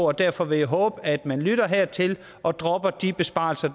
og derfor vil jeg håbe at man lytter hertil og dropper de besparelser